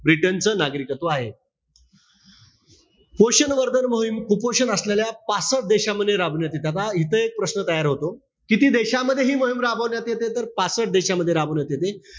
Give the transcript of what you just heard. Britain च नागरिकत्व आहे. पोषण वर्धन मोहीम कुपोषण असलेल्या पासट देशामध्ये राबवण्यात येते. आता इथे एक प्रश्न तयार होतो. किती देशामध्ये हि मोहीम राबवण्यात येते. तर पासट देशामध्ये राबवण्यात येते.